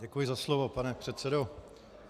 Děkuji za slovo, pane předsedo.